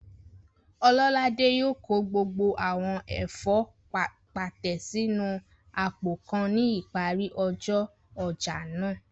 Ọlọ́ládé yóò kó gbogbo àwọn ẹ̀fọ́ pàtẹ sínu àpò kan ní ìparí ọjọ́ ọjà náà